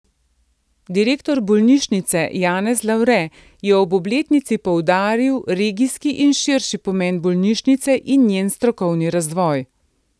Direktor bolnišnice Janez Lavre je ob obletnici poudaril regijski in širši pomen bolnišnice in njen strokovni razvoj.